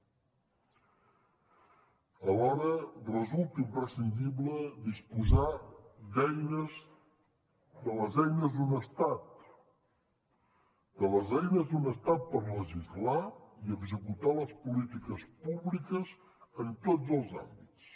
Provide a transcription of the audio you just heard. alhora resulta imprescindible disposar de les eines d’un estat de les eines d’un estat per legislar i executar les polítiques públiques en tots els àmbits